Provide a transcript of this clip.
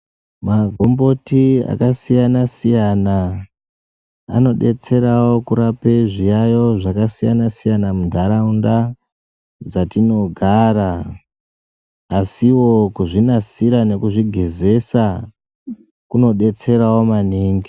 Magomboti akasiyana siyana anobetsera kurape kwezviyayo zvakasiyana mundaraunda dzatinogara asiwo kuzvinasira nekuzvigezesa kunobetserawo maningi